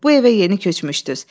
Bu evə yeni köçmüşdüz.